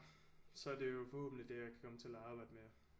Så er det jo forhåbentlig det jeg kan komme til at arbejde med